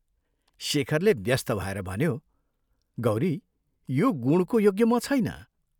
शेखरले व्यस्त भएर भन्यो, "गौरी, यो गुणको योग्य म छैन।